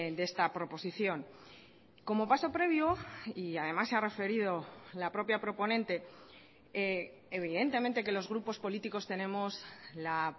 de esta proposición como paso previo y además se ha referido la propia proponente evidentemente que los grupos políticos tenemos la